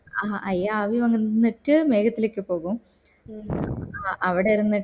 ആഹ് അയാവി വന്നിട്ട് മേഘത്തിലേക്ക് പോവും അവിടെ ഇര്